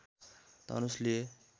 धनुष लिए